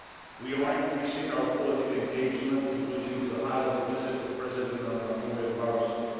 We are increasing our political engagement, including with high level visits by Presidents van Rompuy and Barroso.